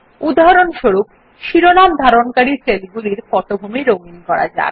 উদাহরণস্বরূপ শিরোনাম ধারণকারী সেলগুলির পটভূমি রঙিন করা যাক